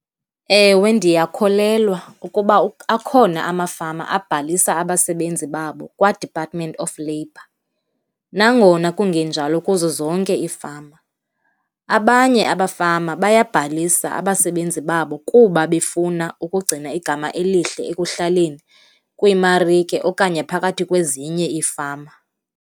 Ewe, ndiyakholelwa ukuba akhona amafama abhalisa abasebenzi babo kwaDepartment of Labour, nangona kungenjalo kuzo zonke iifama. Abanye abafama bayabhalisa abasebenzi babo kuba befuna ukugcina igama elihle ekuhlaleni, kwiimarike okanye phakathi kwezinye iifama.